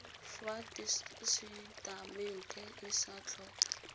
fa tesetamente e sa tlhopha